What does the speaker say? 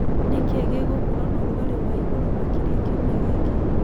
nĩ kĩĩ gĩgũkorwo na ũrũgarĩ wa ĩgũrũ makĩrĩa kĩũmĩa gĩkĩ